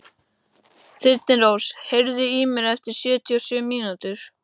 Þyrnirós, heyrðu í mér eftir sjötíu og sjö mínútur.